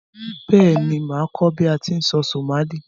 Béèni, màá kó bi a ti n sọ Somali